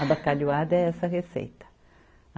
A bacalhoada é essa receita.